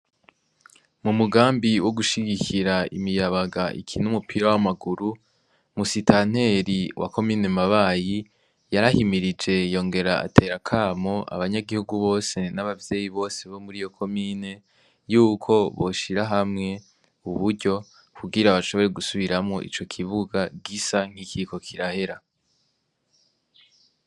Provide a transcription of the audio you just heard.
Mu mugambi wo gushigikira imiyabaga iki n'umupira w'amaguru musitaneri wa kominemabayi yarahimirije yongera aterakamo abanyagihugu bose n'abavyeyi bose bo muri yo komine yuko boshira hamwe uburyo kugira abashobore gusubiramwo ico kie bibuga rgisa nk'ikiko kirahera.